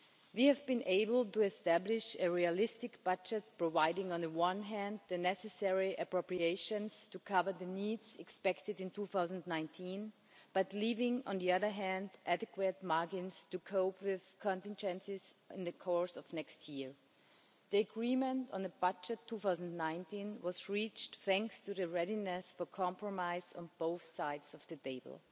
We have been able to establish a realistic budget providing, on the one hand, the necessary appropriations to cover the needs expected in 2019, but leaving, on the other hand, adequate margins to cope with contingencies in the course of next year. The agreement on the 2019 budget was reached thanks to the readiness for compromise on both sides of the table.